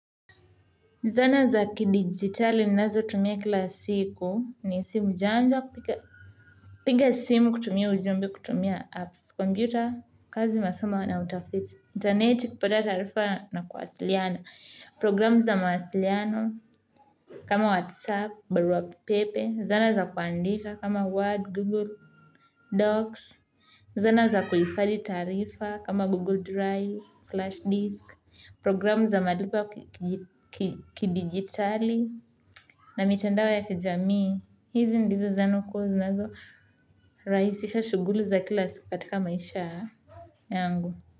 Zana za kidigitali ninazotumia kila siku ni simu janja, piga simu kutumia ujumbe, kutumia apps, kompyuta, kazi masomo na utafiti, intaneti, kipata tarifa na kuwasiliana, programu za mawasiliano kama WhatsApp, barua pepe, zana za kuandika kama Word, Google Docs, zana za kuihifadhi taarifa kama Google Drive, flashdisk, programu za madibu kidigitali na mitandao ya kijamii hizi ndizo zana kuu zinazorahisisha shuguli za kila siku katika maisha yangu.